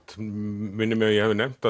minnir mig að ég hafi nefnt